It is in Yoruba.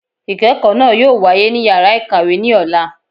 Ikẹkọ naa yóò wàyé ní ìyára ikáwe ni ọlà